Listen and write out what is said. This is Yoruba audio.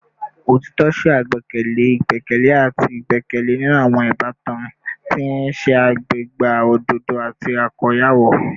Otitọ ṣe agbekele igbẹkẹle ati igbẹkẹle ninu awọn ibatan, ti n ṣe agbega ododo ati akoyawo